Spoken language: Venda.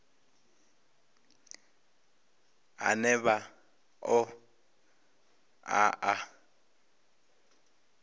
ane vha ṱo ḓa a